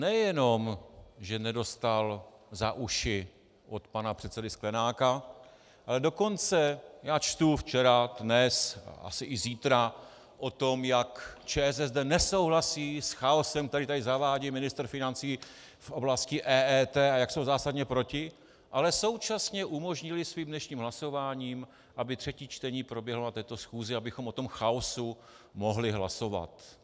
Nejenom že nedostal za uši od pana předsedy Sklenáka, ale dokonce - já čtu včera, dnes a asi i zítra o tom, jak ČSSD nesouhlasí s chaosem, který tady zavádí ministr financí v oblasti EET, a jak jsou zásadně proti, ale současně umožnili svým dnešním hlasováním, aby třetí čtení proběhlo na této schůzi, abychom o tom chaosu mohli hlasovat.